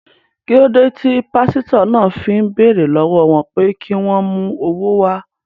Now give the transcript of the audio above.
Kí ló dé tí pásítọ̀ náà fi ń béèrè lọ́wọ́ wọn pé kí wọ́n mú owó wá?